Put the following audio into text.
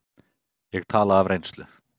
Ég tala af reynslu.